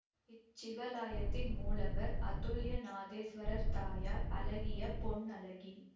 இச்சிவாலயத்தின் மூலவர் அதுல்யநாதேஸ்வரர் தாயார் அழகிய பொன்னழகி